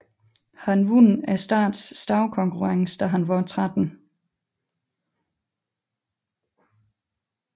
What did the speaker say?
Han vandt statens stavekonkurrence da han var 13